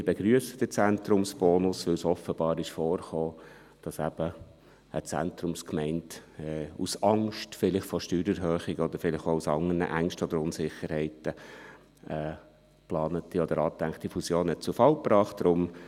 Wir begrüssen den Zentrumsbonus, weil es offenbar vorgekommen ist, dass eben eine Zentrumsgemeinde – vielleicht aus Angst vor einer Steuererhöhung oder vielleicht auch aus anderen Ängsten oder Unsicherheiten – eine geplante oder angedachte Fusion zu Fall gebracht hat.